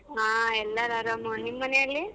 ಹಾ ಎಲ್ಲರೂ ಆರಾಮು ನಿಮ್ಮನೇಲಿ?